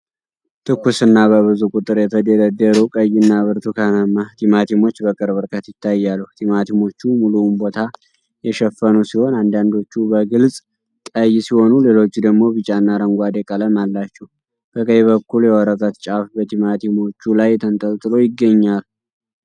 ትኩስና በብዙ ቁጥር የተደረደሩ ቀይና ብርቱካናማ ቲማቲሞች በቅርብ ርቀት ይታያሉ። ቲማቲሞቹ ሙሉውን ቦታ የሸፈኑ ሲሆን፤ አንዳንዶቹ በግልጽ ቀይ ሲሆኑ፣ ሌሎቹ ደግሞ ቢጫና አረንጓዴ ቀለም አላቸው። በቀኝ በኩል የወረቀት ጫፍ በቲማቲሞቹ ላይ ተንጠልጥሎ ይገኛል።